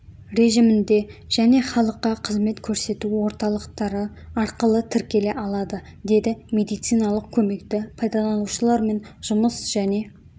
режімінде және халыққа қызмет көрсету орталықтары арқылы тіркеле алады деді медициналық көмекті пайдаланушылармен жұмыс және